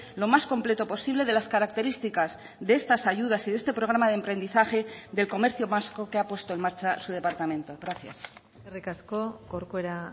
lo más completo posible de las características de estas ayudas y de este programa de emprendizaje del comercio vasco que ha puesto en marcha su departamento gracias eskerrik asko corcuera